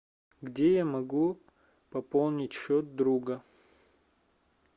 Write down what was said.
где я могу пополнить счет друга